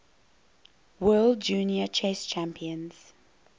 world junior chess champions